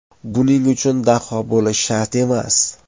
Buning uchun daho bo‘lishi shart emas.